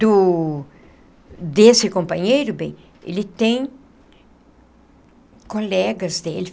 Do... desse companheiro, bem, ele tem... colegas dele.